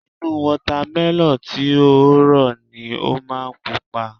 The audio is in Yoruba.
Inú Wọ́támẹlọ̀n tí ó rọ̀ ni ó máa pupa